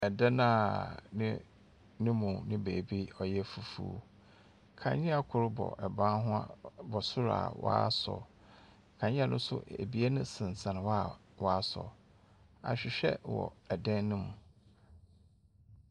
Dan a ne no mu ne beebi kakra yɛ fufuw. Kanea kor bɔ ban ho a bɔ sor a wɔasɔ. Kanea no so ebien sensan hɔ a wɔasɔ. Ahwehwɛ wɔ da no mu.